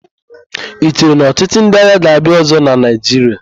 I chere na ọchịchị ndị agha ga-abịa ọ̀zọ́ na Naịjiria?